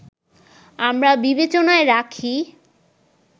আমরা বিবেচনায় রাখি